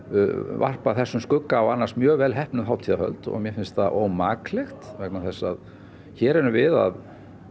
varpa þessum skugga á annars mjög vel heppnuð hátíðarhöld og mér finnst það ómaklegt vegna þess að hér erum við að